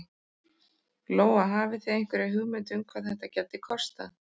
Lóa: Hafið þið einhverja hugmynd um hvað þetta gæti kostað?